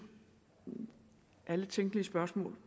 alle tænkelige spørgsmål